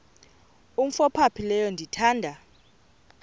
umf ophaphileyo ndithanda